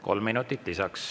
Kolm minutit lisaks.